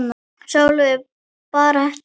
Sólveig: Bara ekkert?